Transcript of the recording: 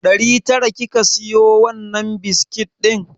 Ɗari tara kika siyo wannan biskit ɗin?